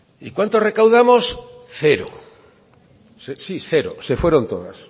y cuánto recaudamos cero sí cero se fueron todas